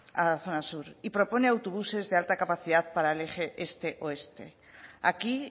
a la zona sur y propone autobuses de alta capacidad para el eje este oeste aquí